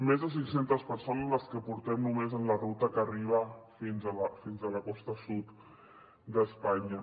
més de cinc centes persones les que portem només en la ruta que arriba fins a la costa sud d’espanya